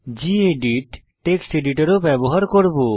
gedit text editor ও ব্যবহার করব